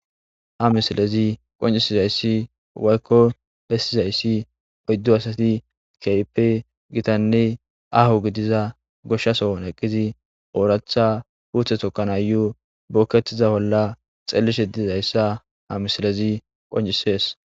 ha misilezi qoncisizayssi waykko bessizayssi oyddu asati keype gitanne ahu gidiza goshshasoon eqqizi ooratha puuthe tokkanaayo bookkettiza holla xellishe diizayssa ha misilezi qoncisees